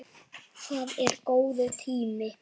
Það er góður tími.